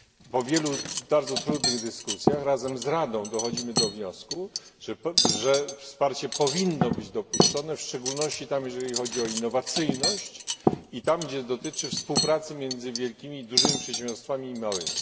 Po wielu bardzo trudnych dyskusjach razem z Radą dochodzimy do wniosku, że wsparcie powinno być dopuszczone, w szczególności tam, gdzie chodzi o innowacyjność i tam, gdzie dotyczy ono współpracy między wielkimi przedsiębiorstwami i małymi.